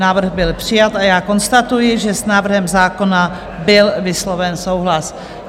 Návrh byl přijat a já konstatuji, že s návrhem zákona byl vysloven souhlas.